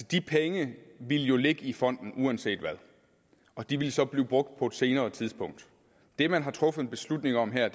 de penge ville jo ligge i fonden uanset hvad og de vil så blive brugt på et senere tidspunkt det man har truffet beslutning om her